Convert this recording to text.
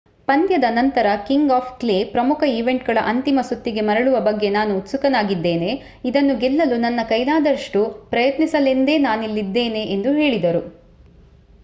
ಪಂದ್ಯದ ನಂತರ king of clay ಪ್ರಮುಖ ಈವೆಂಟ್‌ಗಳ ಅಂತಿಮ ಸುತ್ತಿಗೆ ಮರಳುವ ಬಗ್ಗೆ ನಾನು ಉತ್ಸುಕನಾಗಿದ್ದೇನೆ. ಇದನ್ನು ಗೆಲ್ಲಲು ನನ್ನ ಕೈಲಾದಷ್ಟು ಪ್ರಯತ್ನಿಸಲೆಂದೇ ನಾನಿಲ್ಲಿದ್ದೇನೆ ಎಂದು ಹೇಳಿದರು